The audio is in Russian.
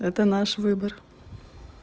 это наш выбор